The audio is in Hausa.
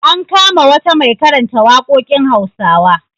An kama wata mai karanta waƙoƙin Hausawa.